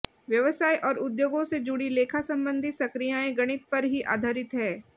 व्यवसाय और उद्योगों से जुड़ी लेखा संबंधी संक्रियाएं गणित पर ही आधारित हैं